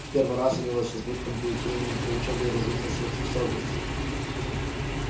в первый раз у него с избытком будет времени для учёбы и развития своих способностей